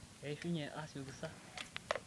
keishunye asioki sa?